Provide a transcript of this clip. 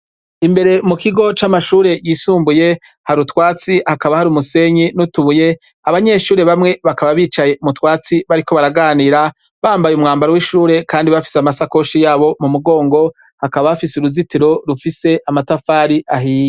Imbere mukigo c'amashure yisumbuye hari utwatsi hakaba hari umusenyi nutubuye, abanyeshure bamwe bakaba bicaye mutwatsi bariko baraganira bambaye umwambaro kwishure kandi bafise amasakoshi yabo mumugongo hakaba hafise uruzitiro rwamatafari ahiye.